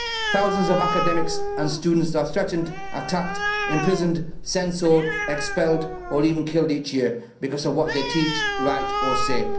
Thousands of academics and students are threatened, attacked, imprisoned, censored, expelled or even killed each year because of what they teach, write or say.